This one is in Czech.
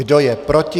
Kdo je proti?